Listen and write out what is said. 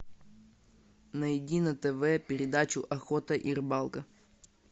найди на тв передачу охота и рыбалка